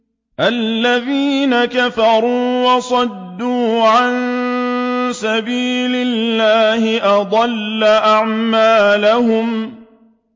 الَّذِينَ كَفَرُوا وَصَدُّوا عَن سَبِيلِ اللَّهِ أَضَلَّ أَعْمَالَهُمْ